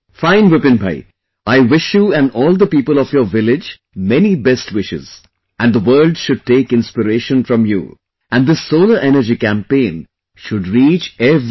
Fine, Vipin Bhai, I wish you and all the people of your village many best wishes and the world should take inspiration from you and this solar energy campaign should reach every home